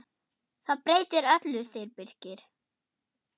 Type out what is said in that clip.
Það breytir öllu, segir Birkir.